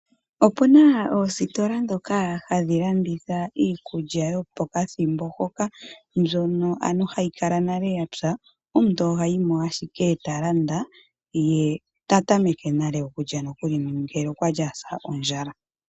Opu na oositola ndhoka hadhi landitha iikulya yopokathimbo hoka mbyono hayi lala nale ya pwa, omuntu oha yi mo ashike talanda ye ta tameke nale okulya nokuli ngele okwali a sa ondjala.